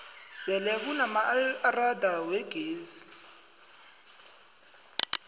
sele kunamaelrada wegezi